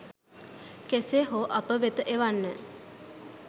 කෙසේ හෝ අප වෙත එවන්න.